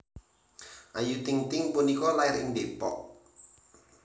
Ayu Ting Ting punika lair ing Depok